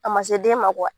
A ma se den ma